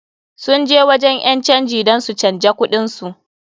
Sun je wajen ƴan canji dan su canja kuɗin su.